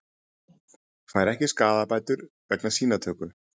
Fær ekki skaðabætur vegna sýnatöku